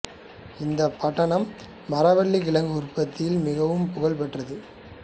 இந்தப் பட்டணம் மரவள்ளிக் கிழங்கு உற்பத்தியில் மிகவும் புகழ் பெற்றது